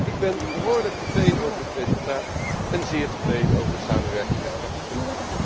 Ik ben behoorlijk tevreden over het resultaat en zeer tevreden over de samenwerking met de rapporteur.